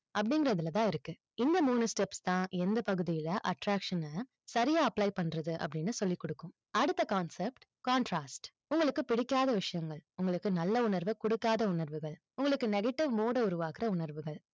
அப்படிங்கிறதுல தான் இருக்கு. இந்த மூணு steps தான், எந்த பகுதியில attraction ன சரியா apply பண்றது, அப்படின்னு சொல்லிக் கொடுக்கும். அடுத்த concept contrast உங்களுக்கு பிடிக்காத விஷயங்கள், உங்களுக்கு நல்ல உணர்வை கொடுக்காத உணர்வுகள், உங்களுக்கு negative mode அ உருவாக்குற உணர்வுகள்,